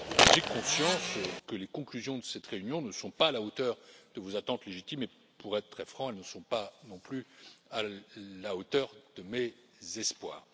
J'ai conscience que les conclusions de cette réunion ne sont pas à la hauteur de vos attentes légitimes et, pour être très franc, elles ne sont pas non plus à la hauteur de mes espoirs.